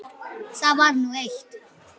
Það var nú eitt.